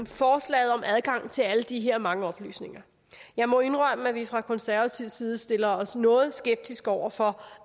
forslaget om adgang til alle de her mange oplysninger jeg må indrømme at vi fra konservativ side stiller os noget skeptiske over for